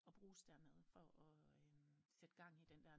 Og bruges der nede for at sætte gang i den der